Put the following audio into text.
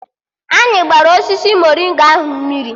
Anyị gbara osisi morịnga ahụ mmiri